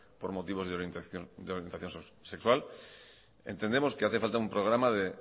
por motivos de la orientación sexual entendemos que hace falta un programa de